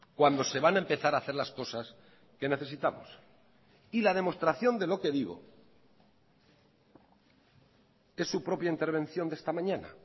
cuando se van a empezar a hacer las cosas que necesitamos y la demostración de lo que digo es su propia intervención de esta mañana